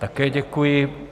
Také děkuji.